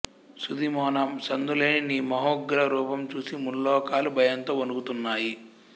సూదిమొన సందు లేని నీ మహోగ్రరూపం చూసి ముల్లోకాలు భయంతో వణుకుతున్నాయి